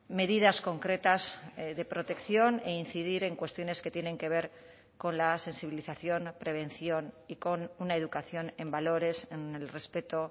medidas concretas de protección e incidir en cuestiones que tienen que ver con la sensibilización prevención y con una educación en valores en el respeto